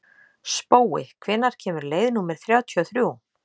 Spói, hvenær kemur leið númer þrjátíu og þrjú?